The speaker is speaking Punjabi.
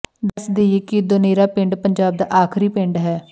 ਦੱਸ ਦੇਈਏ ਕਿ ਦੋਨੇਰਾ ਪਿੰਡ ਪੰਜਾਬ ਦਾ ਆਖਰੀ ਪਿੰਡ ਹੈ